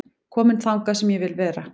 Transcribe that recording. Kominn þangað sem ég vil vera